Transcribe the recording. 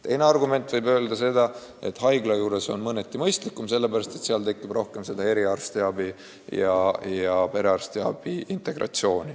Teine argument ütleb, et haigla juures olev keskus on mõneti mõistlikum, sellepärast et seal on rohkem eriarste käepärast ja nende suhtlus perearstidega lihtsam.